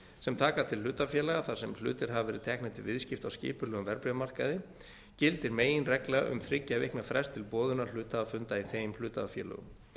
sem taka til hlutafélaga þar sem hlutir hafa verið teknir til viðskipta á skipulögðum verðbréfamarkaði gildir meginregla um þriggja vikna frest til boðunarhluthafafunda í þeim hlutafélögum